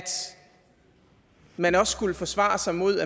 man også skulle forsvare sig imod